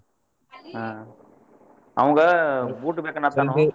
ಹಾ ಅವಂಗ boot ಬೇಕ .